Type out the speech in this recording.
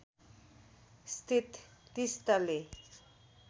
स्थित ३० तले